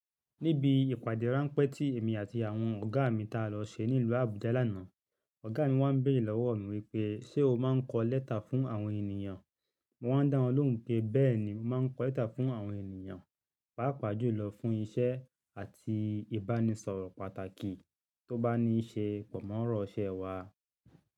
Níbi ìpàdé ráńpẹ́ tí èmi àti àwọn ọ̀gá mi ta lọ ṣe ní ìlú Abuja lánàá, ọ̀gá mi wá ń béèrè lọ́wọ́ mi wípé: ṣe o máa ń kọ lẹ́tà fún àwọn ènìyàn? Mo wá ń dá wọn lóhùn pé bẹ́ẹ̀ni, mo máa ń kọ lẹ́tà fún àwọn ènìyàn, pàápàá jùlọ fún iṣẹ́ àti ìbánisọ̀rọ̀ pàtàkì tó bá níí ṣe pọ̀ mọ́ ọ̀rọ̀ iṣẹ́ wa.